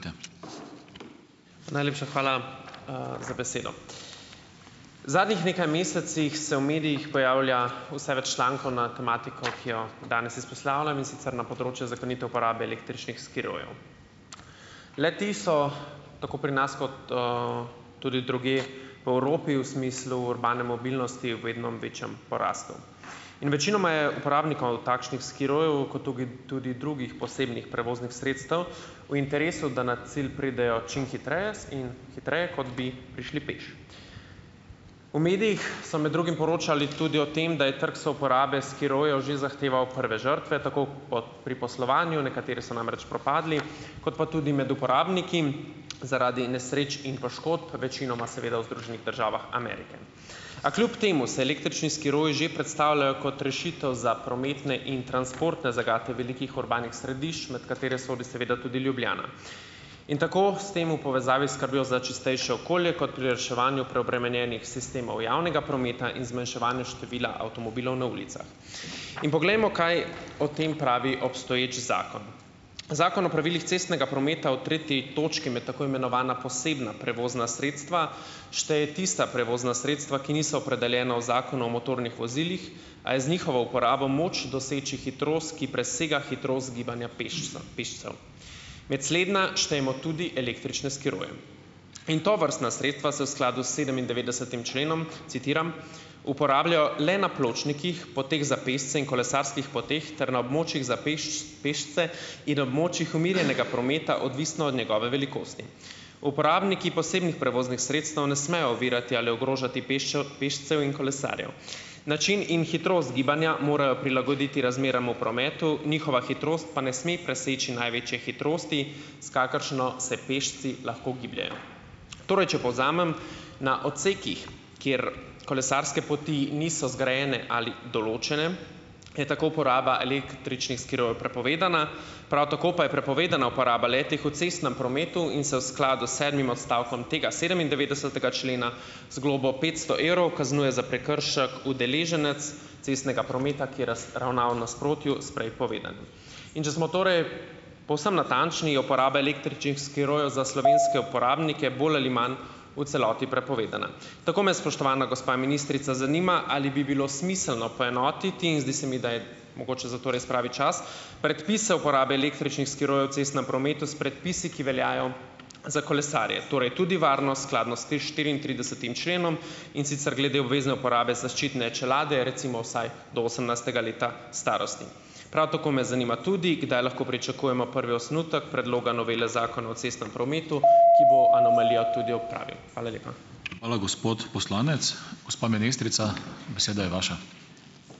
Najlepša hvala, za besedo. V zadnjih nekaj mesecih se v medijih pojavlja vse več člankov na tematiko, ki jo danes izpostavljam, in sicer na področju zakonite uporabe električnih skirojev. Le-ti so tako pri nas, kot, tudi drugje v Evropi v smislu urbane mobilnosti v vedno večjem porastu. In večinoma je uporabnikov takšnih skirojev, kot tugi tudi drugih posebnih prevoznih sredstev, v interesu, da na cilj pridejo čim hitreje in hitreje, kot bi prišli peš. V medijih so med drugim poročali tudi o tem, da je trg souporabe skirojev že zahteval prve žrtve, tako po pri poslovanju - nekateri so namreč propadli, kot pa tudi med uporabniki zaradi nesreč in poškodb, večinoma seveda v Združenih državah Amerike. A kljub temu se električni skiroji že predstavljajo kot rešitev za prometne in transportne zagate velikih urbanih središč, med katere sodi seveda tudi Ljubljana. In tako s tem v povezavi s skrbjo za čistejše okolje, kot pri reševanju preobremenjenih sistemov javnega prometa in zmanjševanju števila avtomobilov na ulicah. In poglejmo, kaj o tem pravi obstoječi zakon. Zakon o pravilih cestnega prometa v tretji točki med tako imenovana posebna prevozna sredstva šteje tista prevozna sredstva, ki niso opredeljena v Zakonu o motornih vozilih, a je z njihovo uporabo moč doseči hitrost, ki presega hitrost gibanja pešcev. Med slednja štejemo tudi električne skiroje. In tovrstna sredstva se v skladu s sedemindevetdesetim členom, citiram: "uporabljajo le na pločnikih, poteh za pešce in kolesarskih poteh ter na območjih za pešce in na območjih umirjenega prometa, odvisno od njegove velikosti. Uporabniki posebnih prevoznih sredstev ne smejo ovirati ali ogrožati pešcev in kolesarjev. Način in hitrost gibanja morajo prilagoditi razmeram v prometu, njihova hitrost pa ne sme preseči največje hitrosti, s kakršno se pešci lahko gibljejo." Torej, če povzamem - na odsekih, kjer kolesarske poti niso zgrajene ali določene, je tako uporaba električnih skirojev prepovedana, prav tako pa je prepovedana uporaba le-teh v cestnem prometu in se v skladu s sedmim odstavkom tega sedemindevetdesetega člena z globo petsto evrov kaznuje za prekršek udeleženec cestnega prometa, ki je ravnal v nasprotju s prej povedanim. In če smo torej povsem natančni, je uporaba električnih skirojev za slovenske uporabnike bolj ali imam v celoti prepovedana. Tako me, spoštovana gospa ministrica, zanima, ali bi bilo smiselno poenotiti in zdi se mi, da je mogoče za to res pravi čas, predpise uporabe električnih skirojev v cestnem prometu s predpisi, ki veljajo za kolesarje, torej tudi varno, skladno s tem štiriintridesetim členom, in sicer glede obvezne uporabe zaščitne čelade, recimo vsaj do osemnajstega leta starosti. Prav tako me zanima tudi, kdaj lahko pričakujemo prvi osnutek predloga novele Zakona o cestnem prometu, ki bo anomalijo tudi odpravil. Hvala lepa.